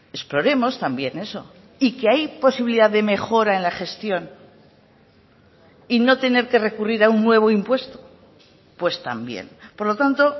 exploremos también eso y que hay posibilidad de mejora en la gestión y no tener que recurrir a un nuevo impuesto pues también por lo tanto